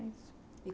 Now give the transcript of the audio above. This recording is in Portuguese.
É isso.